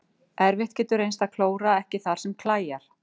Erfitt getur reynst að klóra ekki þar sem klæjar.